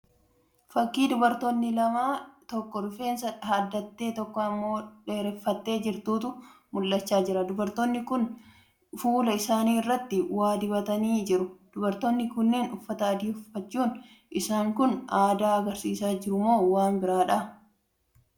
Fakkii dubartoonni lama tokko rifeensa haddattee tokko immoo dheeraffattee jirtutu mul'achaa jira. Dubartoonni kun fuula isaanii irratti waa dibatanii jiru. Dubartoonni kunniin uffata adii uffachuun isaanii kun aadaa agarsiisaa jirumoo waan biraadha?